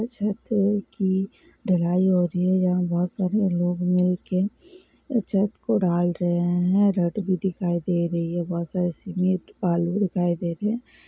छत की ढलाई हो रही है यहाँ बहुत सारे लोग मिल के छत को डाल रहे हैं भी दिखाई दे रही है बहुत सारे सीमेंट भी दिखाई दे रहे हैं।